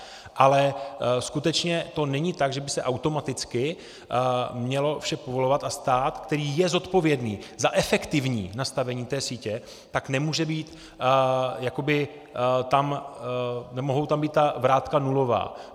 Ale skutečně to není tak, že by se automaticky mělo vše povolovat, a stát, který je zodpovědný za efektivní nastavení té sítě, tak nemohou tam být ta vrátka nulová.